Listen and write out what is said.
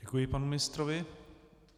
Děkuji panu ministrovi.